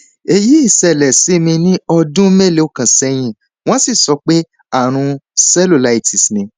èyí ṣẹlẹ sí mi ní ọdún mélòó kan sẹyìn wọn sì sọ pé ààrùn cellulitis ni